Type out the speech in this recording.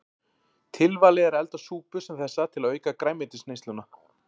Tilvalið er að elda súpu sem þessa til að auka grænmetisneysluna.